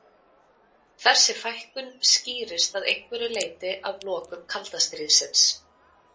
Þessi fækkun skýrist að einhverju leyti af lokum kalda stríðsins.